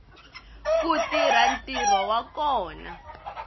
ku tirha ntirho wa kona